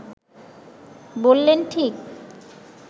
বললেন, ঠিক